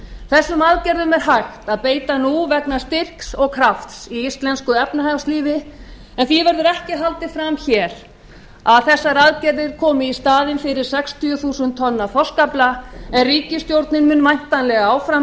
þessum aðgerðum er hægt að beita nú vegna styrks og krafts í íslensku efnahagslífi en því verður ekki haldið fram hér að þessar aðgerðir komi í staðinn fyrir sextíu þúsund tonna þorskafla en ríkisstjórnin mun væntanlega áfram